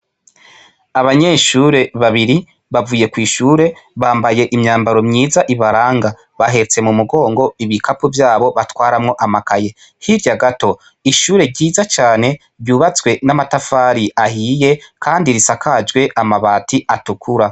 Abanyeshure babiri bavuye kw' ishure bambaye imyambaro myiza ibaranga . Bahetse mu mugongo ibikapo vyabo batwaramwo amakaye. Hirya gato , ishure ryiza cane ryubatswe n' amatafari ahiye kandi risakajwe amabati atukura.